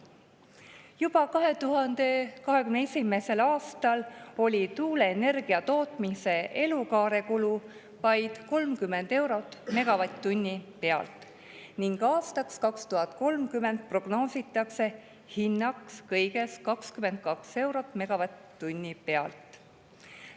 Juba 2021. aastal oli tuuleenergia tootmise elukaarekulu vaid 30 eurot megavatt-tunni eest ning aastaks 2030 prognoositakse hinnaks kõigest 22 eurot megavatt-tunni eest.